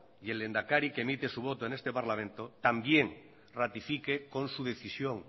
y el lehendakari que emite su voto en este parlamento también ratifique con su decisión